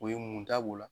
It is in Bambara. O ye mun ta b'o la